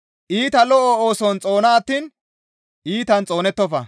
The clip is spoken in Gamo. Iita lo7o ooson xoona attiin iitan xoonettofa.